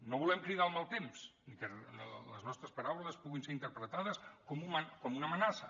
no volem cridar el mal temps ni que les nostres paraules puguin ser interpretades com una amenaça